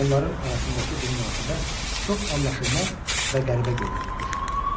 Onların arasındakı bu münasibət çox anlaşılmaz və qəribə görünürmüş.